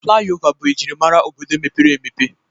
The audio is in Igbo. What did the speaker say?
Flayova bụ ejimara obodo mepere emepe